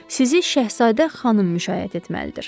Sizi Şəhzadə xanım müşayiət etməlidir.